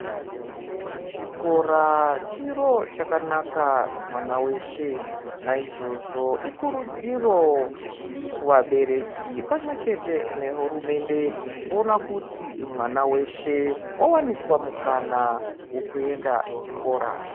Chikora chiro chakanaka kumwana weshe naizvozvo ikurudziro ku vabereki pamwe chete ne hurumende kuona kuti mwana weshe wa waniswa mukana weku enda ku chikora.